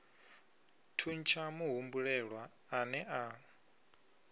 thuntsha muhumbulelwa a ne a